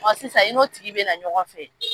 sisan i n'o tigi bɛ na ɲɔgɔn fɛ.